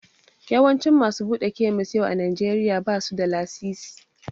Yawancin masu buɗe kemis yau a Najeriya ba su da lasisi.